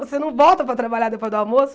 Você não volta para trabalhar depois do almoço.